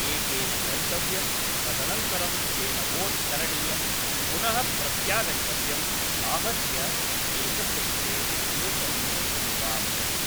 एकेन गन्तव्यं तदनन्तरं तेन वोट् करणीयं पुनः प्रत्यागन्तव्यम् आहत्य एकस्य कृते एकनिमेषं वा भवति